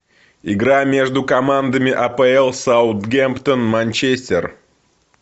игра между командами апл саутгемптон манчестер